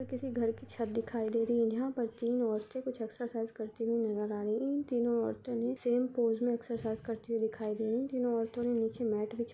यह किसी घर की छत दिखाई दे रही यहाँ पर तीन औरते कुछ एक्सरसाइज करते हुए नजर आ रही इन तीनो औरतो ने सेम पोज में एक्सरसाइज करते हुए दिखाई दे रही तीनो औरतो ने नीचे मैट --